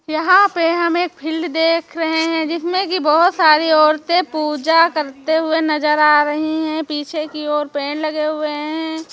यहाँ पे हम एक फिल्ड देख रहे हैं जिसमें कि बहुत सारी औरतें पूजा करते हुए नजर आ रही हैं पीछे की ओर पेर लगे हुए हैं।